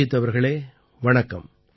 அபிஜீத் அவர்களே வணக்கம்